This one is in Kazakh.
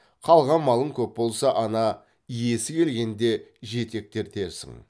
қалған малың көп болса ана иесі келгенде жетектертерсің